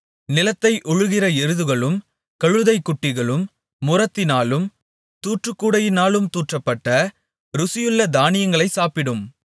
நிலத்தை உழுகிற எருதுகளும் கழுதைகுட்டிகளும் முறத்தினாலும் தூற்றுக்கூடையினாலும் தூற்றப்பட்ட ருசியுள்ள தானியங்களைச் சாப்பிட்டும்